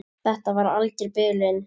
Þetta var alger bilun.